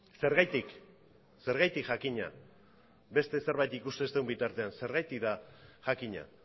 zergatik zergatik jakina beste zerbait ikusten ez dugun bitartean zergatik da jakina